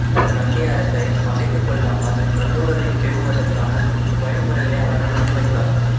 கண்டி அரசைப் பகைத்துக் கொள்ளாமல் நல்லுறவைப் பேணுவதற்கான வழிமுறைகளை அவர்கள் முன் வைத்தார்